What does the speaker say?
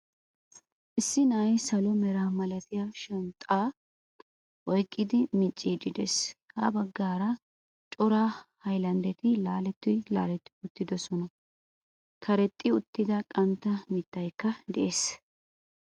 Issi na'ay salo mera malatiya shanxaa oyqqadi micciidi de'ees. Ha baggaara cora haylandetti laaletti laaletti uttidoosona. Karexxi uttida qantta mittaykka de'ees.